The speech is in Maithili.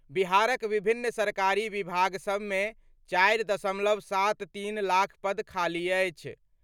बिहारक विभिन्न सरकारी विभाग सभ मे 4.73 लाख पद खाली अछि।